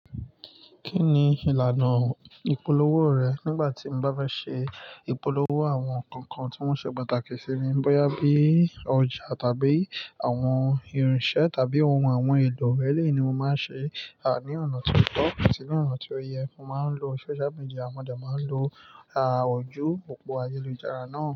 Kí ni ìlànà ìpolówó rẹ̀? Nígbà tí mo bá bá ṣe ìpolówó àwọn nǹkan kan tí wọ́n ṣe pàtàkì sí mi, bóyá bí i ọjà tàbí àwọn irinṣẹ́ tàbí ohun àwọn ohun èlò rẹ̀ lè ní mo máa ṣe, à, ní ọ̀nà tí ó tọ́ àti ní ọ̀nà tí ó yẹ. Mo máa ń lo social media, mọdé máa ń lo, à, ojú òpó ayélujára náà.